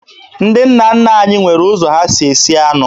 Ndị nna nna anyị nwere ụzọ ha si esi anụ